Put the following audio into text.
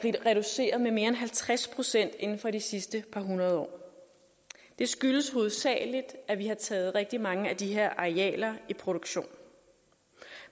er reduceret med mere end halvtreds procent inden for de sidste par hundrede år det skyldes hovedsagelig at vi har taget rigtig mange af de her arealer i produktion